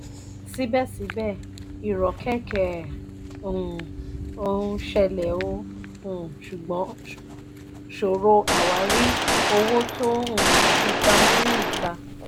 síbẹ̀síbẹ̀ irokeke ó um ṣẹlẹ̀ ó um ṣòro àwárí owó tó um fi pamọ́ ní ìta.